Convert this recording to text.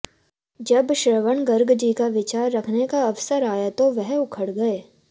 जब श्रवण गर्ग जी का विचार रखने का अवसर आया तो वह उखड़ गये